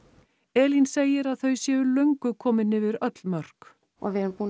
Elín segir að þau séu löngu komin yfir öll mörk og við erum búin